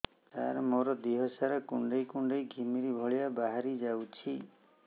ସାର ମୋର ଦିହ ସାରା କୁଣ୍ଡେଇ କୁଣ୍ଡେଇ ଘିମିରି ଭଳିଆ ବାହାରି ଯାଉଛି